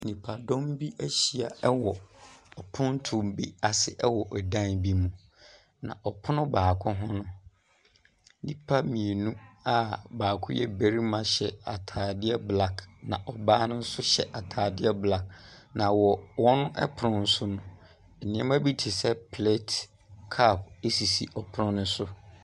Nnipadɔm bi ahyia wɔ pontoɔ bi ase wɔ ɔdan bi mu, na ɔpon baako ho no. Nnipa mmienu a baako yɛ barima hyɛ ataadeɛ black na ɔbaa no nso hyɛ ataadeɛ blaɔk, na wɔ wɔn pono ne so no, nneɛma bi te sɛ plate na cup wɔ pono ne so.